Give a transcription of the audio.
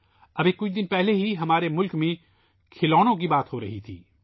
ابھی کچھ دن پہلے ہمارے ملک میں کھلونوں پر بحث ہو رہی تھی